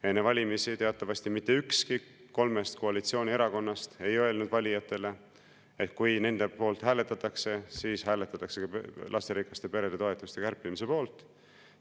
Enne valimisi teatavasti mitte ükski kolmest koalitsioonierakonnast ei öelnud valijatele, et kui nende poolt hääletatakse, siis hääletatakse ka lasterikaste perede toetuste kärpimise poolt.